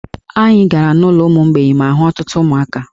Anyị gara n'ụlọ ụmụ mgbei ma hụ ọtụtụ ụmụaka.